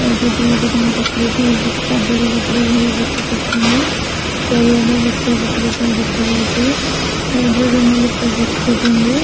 ଆଉ ଦିଟି ଲୋକ ତାଙ୍କ ପାଖରେ ଠିଆ ହେଇ କିଛି କାଗଜପତ୍ର ଧରି କିଛି କରୁଛନ୍ତି ଛାରିଆଡେ ଗଛ ପତ୍ର ସବୁ ଦେଖାଯାଉଚି ଚାରି ଛଜଣ ଲୁକ ବସିଛନ୍ତି।